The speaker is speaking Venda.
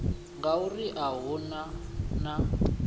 ngauri a hu na na